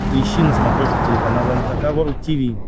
поищи на смотрешке телеканал эн эйч кей волд ти ви